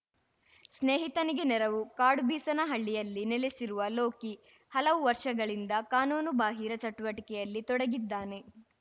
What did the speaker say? ಸ್ನೇಹಿತನಿಗೆ ನೆರವು ಕಾಡುಬೀಸನಹಳ್ಳಿಯಲ್ಲಿ ನೆಲೆಸಿರುವ ಲೋಕಿ ಹಲವು ವರ್ಷಗಳಿಂದ ಕಾನೂನುಬಾಹಿರ ಚಟುವಟಿಕೆಯಲ್ಲಿ ತೊಡಗಿದ್ದಾನೆ